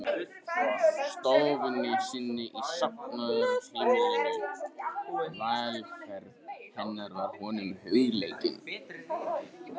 stofunni sinni í safnaðarheimilinu, velferð hennar var honum hugleikin.